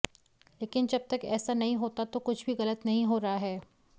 लेकिन जब तक ऐसा नहीं होता तो कुछ भी गलत नहीं हो रहा है